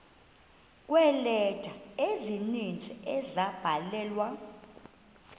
kweeleta ezininzi ezabhalelwa